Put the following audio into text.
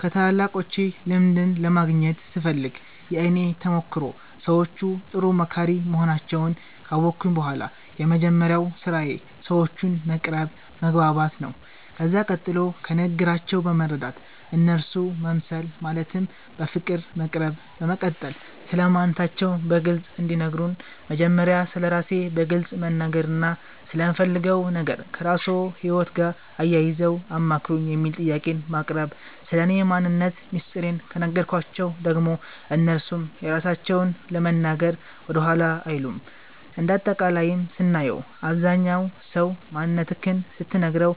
ከታላላቆቼ ልምድን ለማግኘት ስፈልግ የእኔ ተሞክሮ ሰዎቹ ጥሩ መካሪ መሆናቸዉን ካወቅሁ በኋላ የመጀመሪያዉ ስራዬ ሰዎቹን መቅረብ መግባባት ነዉ ከዛ ቀጥሎ ከንግግራቸዉ በመረዳት እነርሱ መምሰል ማለትም በፍቅር መቅረብ በመቀጠል ስለማንነታቸዉ በግልፅ እንዲነግሩን መጀመሪያ ስለራሴ በግልፅ መናገርና ስለምፈልገዉ ነገር ከራስዎ ህይወት ጋር አያይዘዉ አማክሩኝ የሚል ጥያቄን ማቅረብ ስለኔ ማንነት ሚስጥሬን ከነገርኳቸዉ ደግሞ እነርሱም የራሳቸዉን ለመናገር ወደኋላ አይሉም እንደ አጠቃላይም ስናየዉ አብዛኝ ሰዉ ማንነትክን ስትነግረዉ